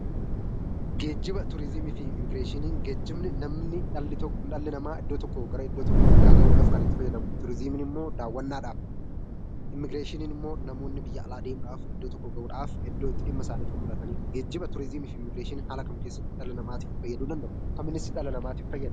Geejjiba, Turizimii fi Immigireeshiniin geejjibni namni dhalli namaa iddoo tokkoo gara iddoo tokko bira gahuudhaaf kan itti fayyadamu, turizimiin immoo daawwannaadhaaf, Immigireeshiniin immoo namoonni biyya alaa deemuudhaaf iddoo tokko gahuudhaaf, iddoo itti dhimma isaanii xumuratanidha. Geejjiba, turizimii fi Immigireeshiniin haala kam keessatti dhala namaatiif fayyaduu danda'u? Akkamiinis dhala namaatiin fayyadu?